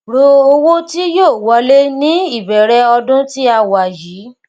ro owó tí yóò wọlé ní ìbẹrẹ ọdún tí a wà yìí